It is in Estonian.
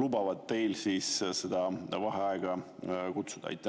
lubavad teil seda vaheaega kutsuda?